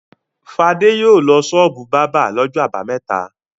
Fadé yóò lọ ṣọ́ọ́bù bábà lọ́jọ́ àbámẹ́ta.